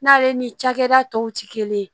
N'ale ni cakɛda tɔw ti kelen ye